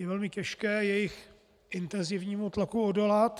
Je velmi těžké jejich intenzivnímu tlaku odolat.